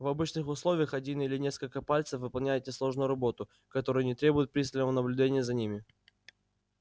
в обычных условиях один или несколько пальцев выполняют несложную работу которая не требует пристального наблюдения за ними